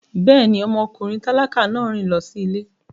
Bẹ́ẹ̀ni, ọmọkùnrin tálákà náà rìn lọ sí ilé